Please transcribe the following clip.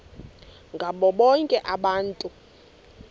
ngabo bonke abantu